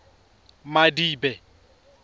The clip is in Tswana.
madibe